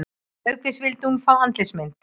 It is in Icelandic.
Auk þess vildi hún fá andlitsmynd